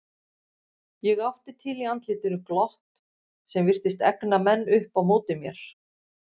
Ég átti til í andlitinu glott sem virtist egna menn upp á móti mér.